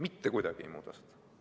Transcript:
Mitte kuidagi ei muuda!